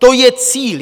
To je cíl.